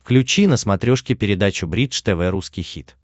включи на смотрешке передачу бридж тв русский хит